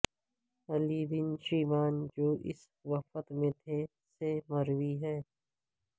علی bin Shiban جو اس وفد میں تھے سے مروی ہے